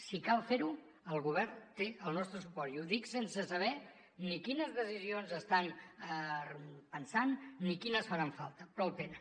si cal fer ho el govern té el nostre suport i ho dic sense saber ni quines decisions estan pensant ni quines faran falta però el tenen